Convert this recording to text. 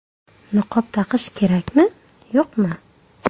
Niqob taqish kerakmi, yo‘qmi?